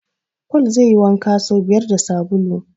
Paul zai yi wanka so biyar da sabulu.